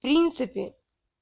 принципе